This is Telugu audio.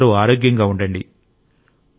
మీరందరూ ఆరోగ్యంగా ఉండండి